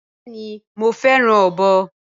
Bẹẹni mo fẹràn ọbọ